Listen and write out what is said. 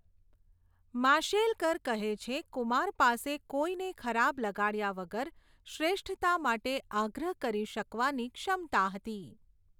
માશેલકર કહે છે, કુમાર પાસે કોઈને ખરાબ લગાડ્યા વગર શ્રેષ્ઠતા માટે આગ્રહ કરી શકવાની ક્ષમતા હતી.